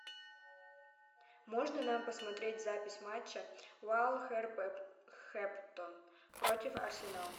можно нам посмотреть запись матча вулверхэмптон против арсенал